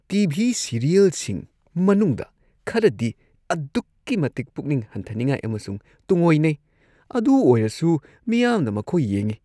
T. V. ꯁꯤꯔꯤꯌꯦꯜꯁꯤꯡ ꯃꯅꯨꯡꯗ ꯈꯔꯗꯤ ꯑꯗꯨꯛꯀꯤ ꯃꯇꯤꯛ ꯄꯨꯛꯅꯤꯡ ꯍꯟꯊꯅꯤꯉꯥꯏ ꯑꯃꯁꯨꯡ ꯇꯨꯡꯑꯣꯏꯅꯩ ꯑꯗꯨ ꯑꯣꯏꯔꯁꯨ ꯃꯤꯌꯥꯝꯅ ꯃꯈꯣꯏ ꯌꯦꯡꯏ ꯫